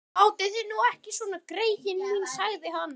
Látið þið nú ekki svona, greyin mín sagði hann.